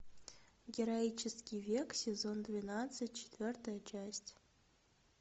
героический век сезон двенадцать четвертая часть